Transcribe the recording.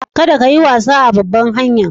Kadda ka yi wasa a babban hanya'n.